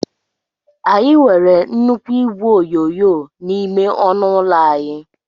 Anyị nwere nnukwu igwe onyonyo n'ime ọnụ ụlọ anyị.